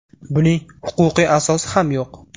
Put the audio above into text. Buning huquqiy asosi ham yo‘q.